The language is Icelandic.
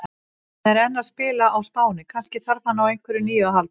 Hann er enn að spila á Spáni, kannski þarf hann á einhverju nýju að halda?